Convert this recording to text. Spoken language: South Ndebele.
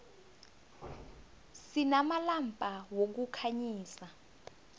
sinamalampa wokukhanyisa